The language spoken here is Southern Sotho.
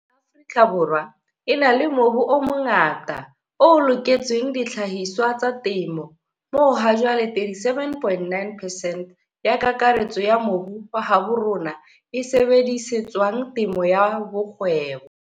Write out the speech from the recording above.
Afrika Borwa e na le mobu o mongata o loketseng dihlahiswa tsa temo, moo hajwale 37,9 percent ya kakaretso ya mobu wa habo rona e sebedisetswang temo ya kgwebo.